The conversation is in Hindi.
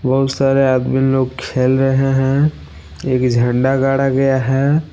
बहुत सारे आदमी लोग खेल रहे हैं एक झंडा गाड़ा गया है।